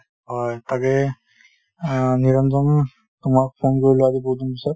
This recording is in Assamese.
হয় তাকেই অ নিৰঞ্জন তোমাক phone কৰিলো আজি বহুত দিন পিছত